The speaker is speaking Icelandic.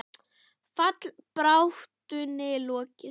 Fallbaráttunni lokið?